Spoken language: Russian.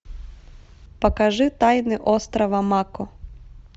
покажи тайны острова мако